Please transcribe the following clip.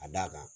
A d'a kan